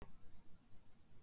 Rúnhildur, mun rigna í dag?